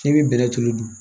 K'i bɛ bɛnɛ tulu dun